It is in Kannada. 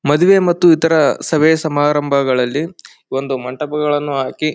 ಮದುವೆ ಮತ್ತು ಇತರ ಸಭೆ ಸಮಾರಂಗಾಳಲ್ಲಿ ಒಂದು ಮಂಟಪಗಳನ್ನು ಹಾಕಿ--